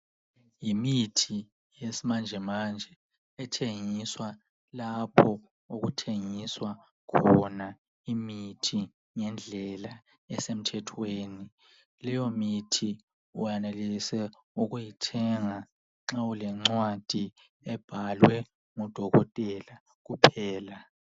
Yimithi yesimanjemanje ethengiswa lapho okuthengisa khona imithi ngendlela esemthwethweni. Leyo mithi uyenelisa ukuthenga nxa ulencwadi ebhalwe ngudokotela kuphela.